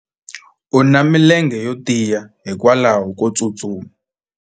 u na milenge yo tiya hikwalaho ko tsustuma